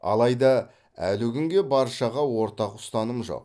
алайда әлі күнге баршаға ортақ ұстаным жоқ